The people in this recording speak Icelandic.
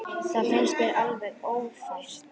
Það finnst mér alveg ófært.